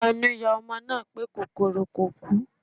Ẹnu yà ọmọ náà pé kòkòrò kò kú